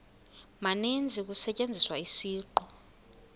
maninzi kusetyenziswa isiqu